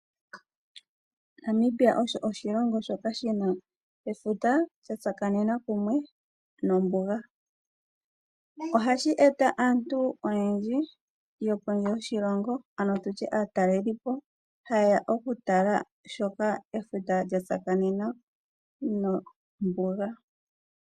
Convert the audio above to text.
Namibia osho oshilongo shoka shina efuta lya tsakanena kumwe nombuga . Ohashi eta aantu oyendji yokondje yoshilongo ano tutye aatalelipo ha yeya oku tala shoka efuta lya tsakanena nombuga.